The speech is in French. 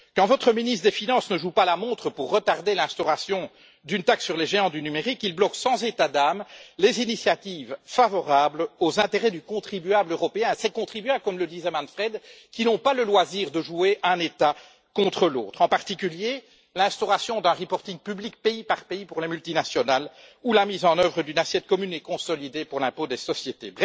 Quand votre ministre des finances ne joue pas la montre pour retarder l'instauration d'une taxe sur les géants du numérique, il bloque sans état d'âme les initiatives favorables aux intérêts du contribuable européen ces contribuables, comme le disait Manfred, qui n'ont pas le loisir de jouer un État contre l'autre en particulier l'instauration d'un reporting public, pays par pays, pour les multinationales ou la mise en œuvre d'une assiette commune et consolidée pour l'impôt des sociétés.